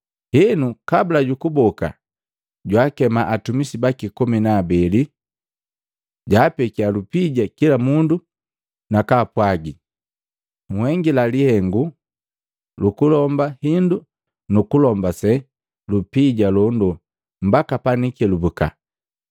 Henu, kabula jukuboka, jwaakema atumisi baki komi na abeli, jaapekya lupija kila mundu na kaapwagi, ‘Nhengila lihengu lukulomba hindu nukulombase lupija londo mbaka panikelubuka.’